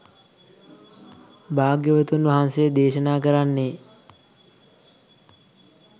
භාග්‍යවතුන් වහන්සේ දේශනා කරන්නේ